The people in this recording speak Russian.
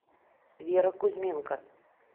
вера кузьменко